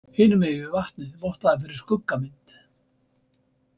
Hinum megin við vatnið vottaði fyrir skuggamynd.